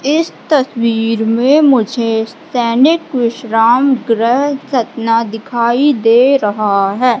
इस तस्वीर में मुझे सैनिक विश्राम ग्रह सतना दिखाई दे रहा है।